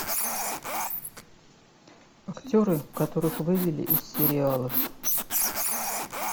актеры которых вывели из сериалов